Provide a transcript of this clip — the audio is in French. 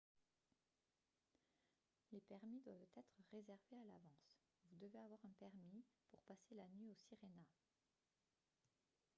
les permis doivent être réservés à l'avance vous devez avoir un permis pour passer la nuit au sirena